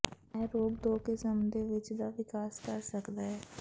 ਇਹ ਰੋਗ ਦੋ ਕਿਸਮ ਦੇ ਵਿੱਚ ਦਾ ਵਿਕਾਸ ਕਰ ਸਕਦਾ ਹੈ